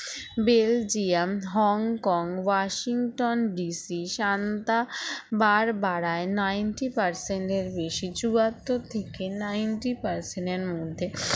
Belgium Hong Kong Washington DC Santa বার বারায় ninty percent এর বেশি চুয়াত্তর থেকে ninty percent এর মধ্যে